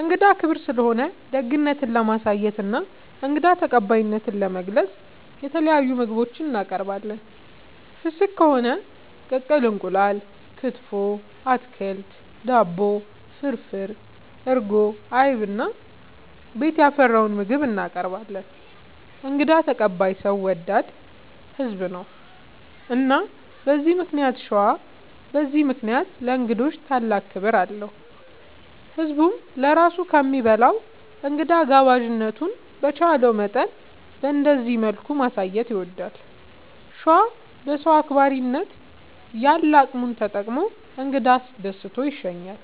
እንግዳ ክብር ስለሆነ ደግነት ለማሳየትና እንግዳ ተቀባይነትን ለመግለፅ የተለያዩ ምግቦች እናቀርባለን። ፍስግ ከሆነ ቅቅል እንቁላል፣ ክትፎ፣ አትክልት፣ ዳቦ፣ ፍርፍር፣ እርጎ፣ አይብ እና ቤት ያፈራውን ምግብ እናቀርባለን እንግዳ ተቀባይ ሰው ወዳድ ህዝብ ነው። እና በዚህ ምክንያት ሸዋ በዚህ ምክንያት ለእንግዶች ታላቅ ክብር አለው። ህዝብም ለራሱ ከሚበላ እንግዳ ጋባዥነቱን በቻለው መጠን በእንደዚህ መልኩ ማሳየት ይወዳል። ሸዋ በሰው አክባሪነት ያለ አቅሙን ተጠቅሞ እንግዳ አስደስቶ ይሸኛል።